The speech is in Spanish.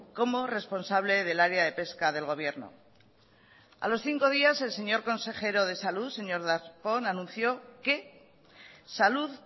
como responsable del área de pesca del gobierno a los cinco días el señor consejero de salud señor darpón anunció que salud